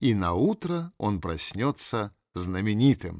и наутро он проснётся знаменитым